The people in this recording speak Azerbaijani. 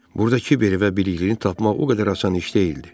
Burdakı kiberi və biliklini tapmaq o qədər asan iş deyildi.